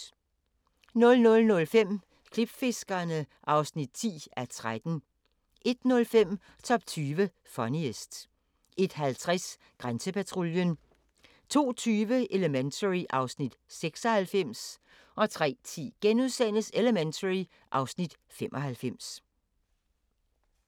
00:05: Klipfiskerne (10:13) 01:05: Top 20 Funniest 01:50: Grænsepatruljen 02:20: Elementary (Afs. 96) 03:10: Elementary (Afs. 95)*